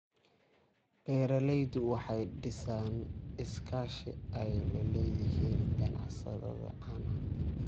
Beeraleydu waxay dhisayaan iskaashi ay la leeyihiin ganacsatada caanaha.